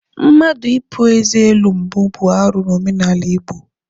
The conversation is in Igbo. Mmadụ ịpu eze elu mbụ bụ arụ n'omenala Igbo.